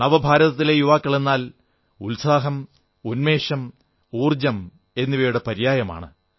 നവഭാരതത്തിലെ യുവാക്കളെന്നാൽ ഉത്സാഹം ഉന്മേഷം ഊർജ്ജം എന്നിവയുടെ പര്യായമാണ്